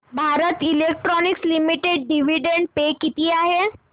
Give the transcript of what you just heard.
Bharat electronics limited dividend पे किती आहे